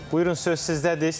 Buyurun, söz sizdədir.